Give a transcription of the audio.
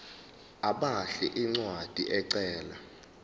abhale incwadi ecela